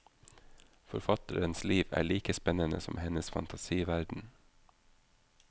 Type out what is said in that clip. Forfatterens liv er like spennende som hennes fantasiverden.